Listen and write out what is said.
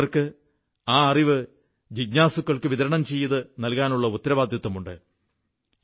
അറിവുള്ളവർക്ക് ആ അറിവ് ജിജ്ഞാസുക്കൾക്ക് വിതരണം ചെയ്തു നൽകാനുള്ള ഉത്തരവാദിത്തമുണ്ട്